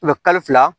kalo fila